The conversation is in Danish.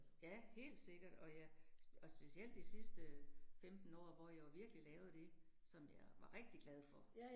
Ja, helt sikkert og jeg, og specielt de sidste 15 år, hvor jeg jo virkelig lavede det, som jeg var rigtig glad for